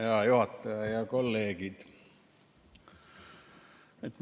Hea juhataja ja kolleegid!